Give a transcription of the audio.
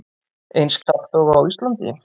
Eins kalt og á Íslandi?